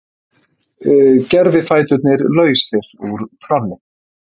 Gervifæturnir lausir úr tolli